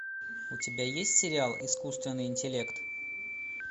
у тебя есть сериал искусственный интеллект